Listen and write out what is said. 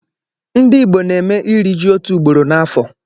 Ndịgbo na-eme iri ji otu ugboro n'afọ.